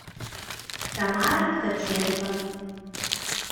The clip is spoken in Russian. тамара ткаченко